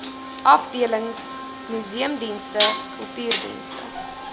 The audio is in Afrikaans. afdelings museumdienste kultuurdienste